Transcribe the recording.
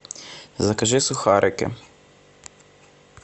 закажи сухарики